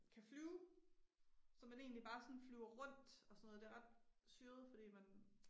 Kan flyve så man egentlig bare sådan flyver rundt og sådan noget det ret syret fordi man